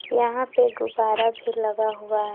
यहां पे गुब्बारा भी लगा हुआ है।